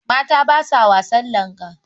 Mata ba sa wasan langa.